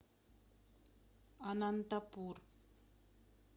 анантапур